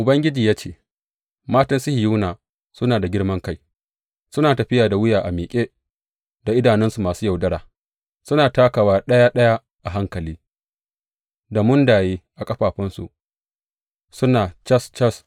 Ubangiji ya ce, Matan Sihiyona suna da girman kai, suna tafiya da wuya a miƙe, da idanu masu yaudara, suna takawa ɗaya ɗaya a hankali, da mundaye a ƙafafunsu, suna cas cas.